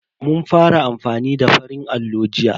Mun fara amfani da farin allo jiya.